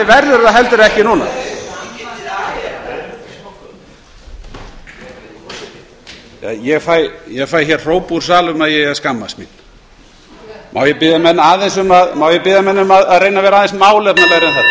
verður það heldur ekki núna ég fæ hér hróp úr sal um að ég eigi að skammast mín má ég biðja menn um að reyna að vera aðeins